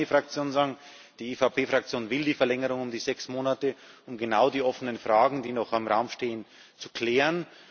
Ich kann für meine Fraktion sagen Die EVP Fraktion will die Verlängerung um die sechs Monate, um genau die offenen Fragen, die noch im Raum stehen, zu klären.